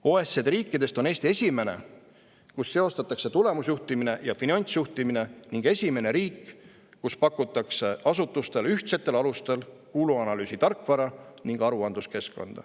OECD riikidest on Eesti esimene, kus seostatakse tulemusjuhtimine ja finantsjuhtimine ning esimene riik kus pakutakse asutustele ühtsetel alustel kuluanalüüsi tarkvara ning aruandluskeskkond.